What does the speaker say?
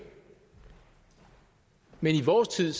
men i vores tid